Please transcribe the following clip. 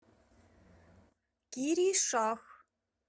киришах